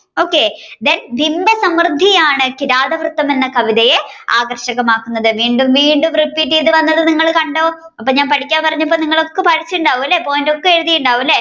okay then ബിംബസമൃദ്ധിയാണ് കിരാതവൃത്തം എന്ന കവിതയെ ആകര്ഷകമാകുന്നത് വീണ്ടും വീണ്ടും repeat ആയിട്ട് വന്നത് നിങ്ങൾ കണ്ടോ ഞാൻ പഠിക്കാൻ പറഞ്ഞപ്പോ നിങ്ങൾ ഒന്നും പഠിച്ചിട്ടുണ്ടാവും അല്ലെ point ഒക്കെ എഴുതിയിട്ടുണ്ടാവും അല്ലെ okay